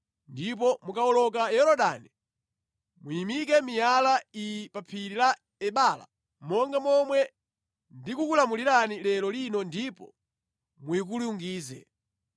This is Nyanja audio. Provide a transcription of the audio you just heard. Ndipo mukawoloka Yorodani muyimike miyala iyi pa Phiri la Ebala monga momwe ndikukulamulirani lero lino ndipo muyikulungize.